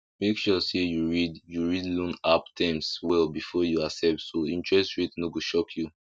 make sure say you read you read loan app terms well before you accept so interest rate no go shock you